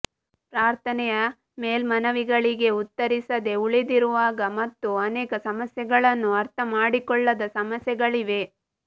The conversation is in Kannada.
ಪ್ರಾರ್ಥನೆಯ ಮೇಲ್ಮನವಿಗಳಿಗೆ ಉತ್ತರಿಸದೆ ಉಳಿದಿರುವಾಗ ಮತ್ತು ಅನೇಕ ಸಮಸ್ಯೆಗಳನ್ನು ಅರ್ಥಮಾಡಿಕೊಳ್ಳದ ಸಮಯಗಳಿವೆ